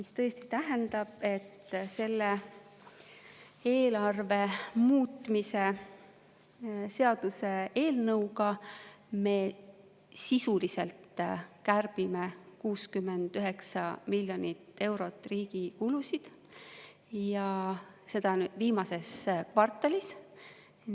" See tähendab, et selle eelarve muutmise seaduse eelnõuga me sisuliselt kärbime 69 miljonit eurot riigi kulusid, ja seda viimases kvartalis.